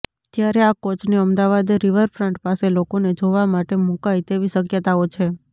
ત્યારે આ કોચને અમદાવાદ રીવરફ્રંટ પાસે લોકોને જોવા માટે મુકાય તેવી શક્યતાઓ છે